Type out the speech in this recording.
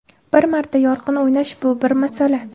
Bir marta yorqin o‘ynash bu bir masala.